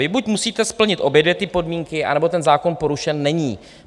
Vy buď musíte splnit obě dvě ty podmínky, anebo ten zákon porušen není.